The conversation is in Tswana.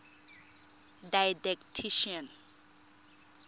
didactician